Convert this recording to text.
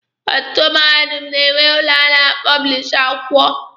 Ọtụtụ mahadum na-enwe ụlọ a na-apọblishi akwụkwọ.